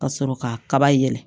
Ka sɔrɔ kaba yɛlɛ